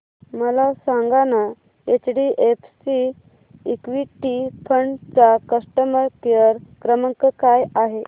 मला सांगाना HDFC equity fund चा कस्टमर केअर क्रमांक काय आहे